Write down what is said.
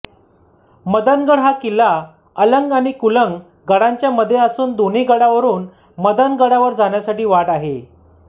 मदनगड हा किल्ला अलंग आणि कुलंग गडांच्या मध्ये असून दोन्ही गडावरुन मदनगडावर जाण्यासाठी वाट आहे